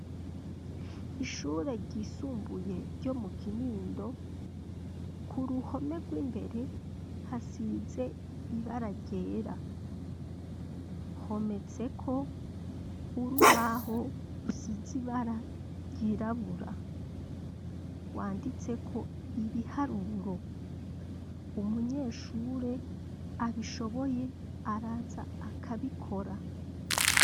Ishure ryisumbuye ryo mu Kinindo , kuruhome rwimbere hasize ibara ryera ,hometseko urubaho rusize ibara ryirabura, rwanditseko ibiharuro, umunyeshure abishoboye araza akabikora.